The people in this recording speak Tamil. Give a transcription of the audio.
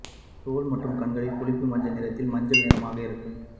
தோல் மற்றும் கண்களின் புளிப்பு மஞ்சள் நிறத்தில் மஞ்சள் நிறமாக இருக்கும்